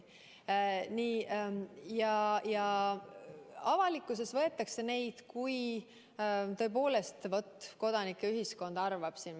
Ja avalikkuses võetakse neid tõepoolest nii, et vaat kodanikuühiskond arvab seda.